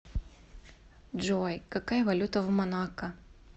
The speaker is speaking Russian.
джой какая валюта в монако